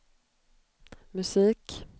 musik